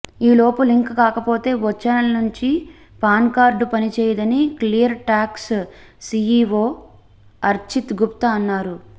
ఈలోపు లింక్ కాకపోతే వచ్చే నెల నుంచి పాన్కార్డు పని చేయదని Clear Tax CEO Archit Gupta అన్నారు